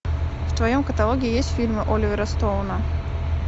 в твоем каталоге есть фильмы оливера стоуна